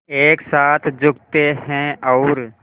एक साथ झुकते हैं और